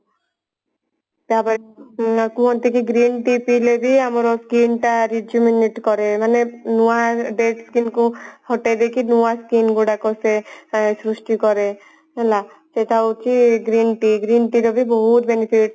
ତାପରେ କୁହନ୍ତି କି green tea ପିଇଲେ ଯେ ଆମର skin ଟା Resupinate କରେ ମାନେ ନୂଆ dead skin କୁ ହଟେଇ ଦେଇକି ନୂଆ skin ଗୁଡାକ ସେ ଏ ସୃଷ୍ଟି କରେ ହେଲା ଏଇଟା ହଉଛି green tea green tea ରେ ବି ବହୁତ benefit